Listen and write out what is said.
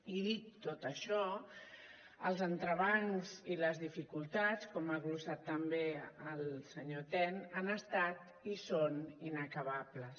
i dit tot això els entrebancs i les dificultats com ha glossat tan bé el senyor ten han estat i són inacabables